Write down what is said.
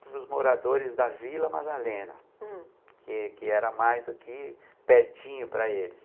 para os moradores da Vila Madalena, hm, que que era mais aqui pertinho para eles.